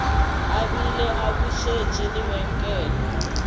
a bile a butše lebenkele